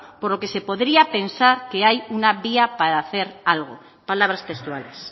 por lo que se podría pensar que hay una vía para hace algo palabras textuales